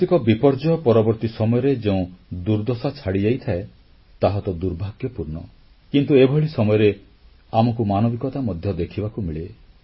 ପ୍ରାକୃତିକ ବିପର୍ଯ୍ୟୟ ପରବର୍ତ୍ତୀ ସମୟରେ ଯେଉଁ ଦୁର୍ଦ୍ଦଶା ଛାଡ଼ିଯାଇଥାଏ ତାହା ତ ଦୁର୍ଭାଗ୍ୟପୂର୍ଣ୍ଣ କିନ୍ତୁ ଏଭଳି ସମୟରେ ଆମକୁ ମାନବିକତା ମଧ୍ୟ ଦେଖିବାକୁ ମିଳେ